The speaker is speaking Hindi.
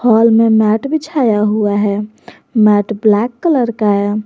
हाल में मैट बिछाया हुआ है मैट ब्लैक कलर का है।